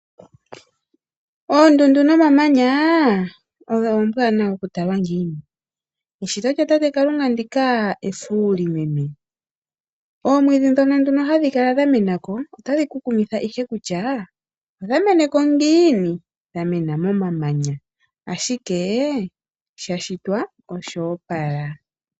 Oondundu nomamanya odho oombwanawa okutalwa ngiini, eshito lya tate kalunga ndika efuli meme. Oomwidhi ndhono hadhi kala dha menako otadhi ku kumitha ihe kutya odhameneko ngiini dhamena moma manya ashike shashitwa osho opala.